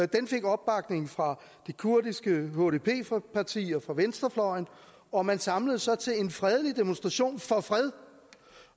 den fik opbakning fra det kurdiske hdp parti og fra venstrefløjen og man samledes så til en fredelig demonstration for fred